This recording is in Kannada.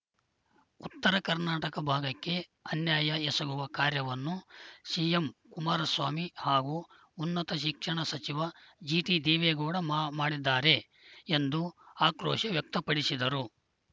ಉತ್ತರ ಕರ್ನಾಟಕ ಭಾಗಕ್ಕೆ ಅನ್ಯಾಯ ಎಸಗುವ ಕಾರ್ಯವನ್ನು ಸಿಎಂ ಕುಮಾರಸ್ವಾಮಿ ಹಾಗೂ ಉನ್ನತ ಶಿಕ್ಷಣ ಸಚಿವ ಜಿಟಿದೇವೆಗೌಡ ಮಾ ಮಾಡಿದ್ದಾರೆ ಎಂದು ಆಕ್ರೋಶ ವ್ಯಕ್ತಪಡಿಸಿದರು